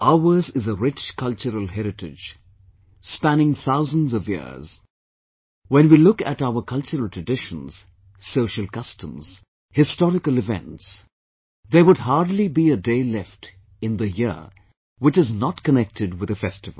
Ours is arich cultural heritage, spanning thousands of years when we look at our cultural traditions, social customs, historical events, there would hardly be a day left in the year which is not connected with a festival